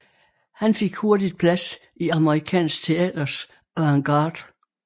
Han fik hurtigt plads i amerikansk teaters avantgarde